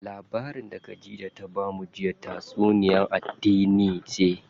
Labarin da Khadija ta bamu jiya tatsuniya addini ce.